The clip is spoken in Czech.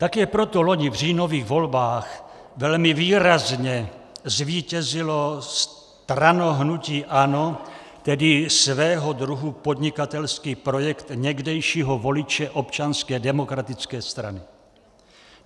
Také proto loni v říjnových volbách velmi výrazně zvítězilo strano-hnutí ANO, tedy svého druhu podnikatelský projekt někdejšího voliče Občanské demokratické strany.